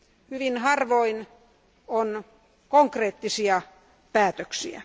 Hyvin harvoin on konkreettisia päätöksiä.